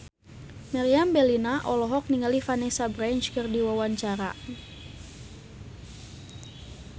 Meriam Bellina olohok ningali Vanessa Branch keur diwawancara